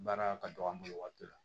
Baara ka dɔgɔ an bolo waati dɔ la